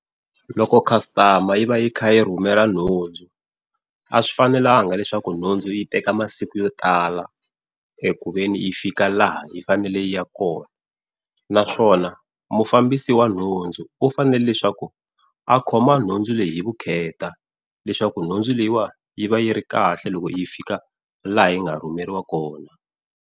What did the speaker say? Loko customer yi va yi kha yi rhumela nhundzu, a swi fanelanga leswaku nhundzu yi teka masiku yo tala eku veni yi fika laha yi fanele yi ya kona naswona mufambisi wa nhundzu u fanele leswaku a khoma nhundzu leyi hi vukheta leswaku nhundzu leyiwani yi va yi ri kahle loko yi fika laha yi nga rhumeriwa kona.